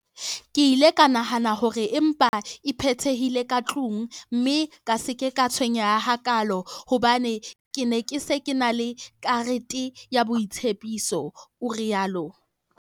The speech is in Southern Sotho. "Ke ile ka nahana hore e mpa e patehile ka tlung, mme ka se ke ka tshwenyeha hakaalo hobane ke ne ke se ke ena le karete ya boitsebiso" o rialo.